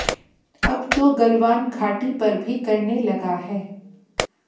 अब तो गलवान घाटी पर भी करने लगा है